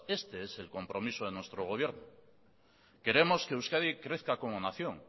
este es el compromiso de nuestro gobierno queremos que euskadi crezca como nación